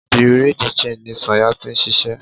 Bureau di changii ní Sanya tí ń ṣiṣẹ́.